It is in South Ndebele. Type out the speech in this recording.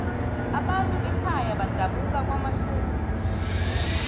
abantu bekhaya badabuka kwamahlungulu